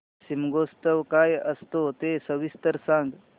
शिमगोत्सव काय असतो ते सविस्तर सांग